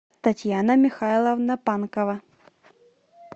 татьяна михайловна панкова